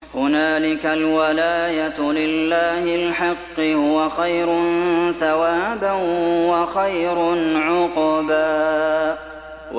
هُنَالِكَ الْوَلَايَةُ لِلَّهِ الْحَقِّ ۚ هُوَ خَيْرٌ ثَوَابًا وَخَيْرٌ عُقْبًا